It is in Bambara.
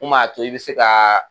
Mun b'a to i bɛ se ka